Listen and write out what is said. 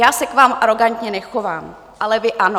Já se k vám arogantně nechovám, ale vy ano.